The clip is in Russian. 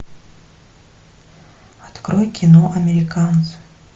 открой кино американцы